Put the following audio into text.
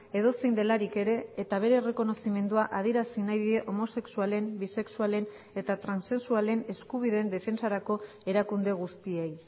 edozein delarik ere eta bere errekonozimendua adierazi nahi die homosexualen bisexualen eta transexualen eskubideen defentsarako erakunde guztiei